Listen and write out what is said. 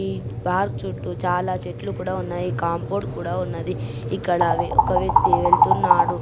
ఈ పార్క్ చుట్టూ చాల చెట్లు కూడా ఉన్నాయికాంపౌండ్ కూడా ఉన్నదిఇక్కడ అవి వక వ్యక్తి వెళ్తున్నాడు.